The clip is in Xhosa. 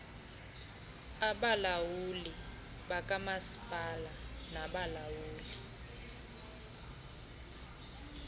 abalawuli bakamasipala nabalawuli